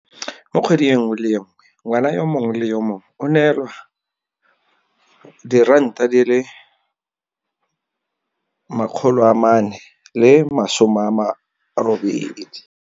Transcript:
Mo kgweding e nngwe le e nngwe ngwana yo mongwe le yo mongwe o neelwa R480.